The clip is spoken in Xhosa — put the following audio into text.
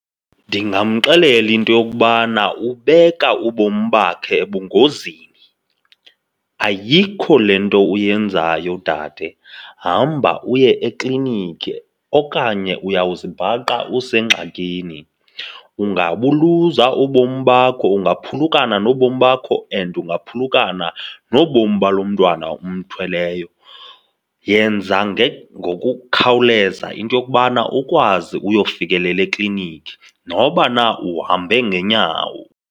Ndingamxelela into yokubana ubeka ubomi bakhe ebungozini. Ayikho le nto uyenzayo dade, hamba uye ekliniki okanye uyawuzibhaqa usengxakini. Ungabuluza ubomi bakho, ungaphulukana nobomi bakho and ungaphulukana nobomi balo mntwana umthweleyo. Yenza ngokukhawuleza into yokubana ukwazi uyofikelela ekliniki, noba na uhambe ngeenyawo.